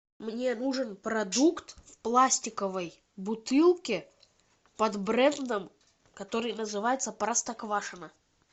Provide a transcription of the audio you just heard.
мне нужен продукт в пластиковой бутылке под брендом который называется простоквашино